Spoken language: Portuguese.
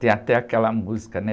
Tem até aquela música, né?